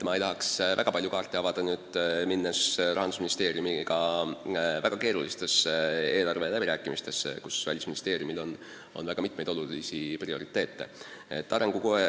Ma ei tahaks väga palju kaarte avada, enne kui lähen Rahandusministeeriumiga väga keerulistele eelarveläbirääkimistele, kus Välisministeeriumil on õige mitu olulist prioriteeti seatud.